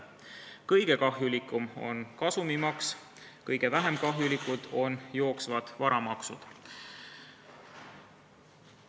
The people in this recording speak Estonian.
Kõige kahjulikum on kasumimaks, kõige vähem kahjulikud on jooksvad varamaksud.